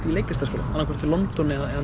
í leiklistarskóla annað hvort í London eða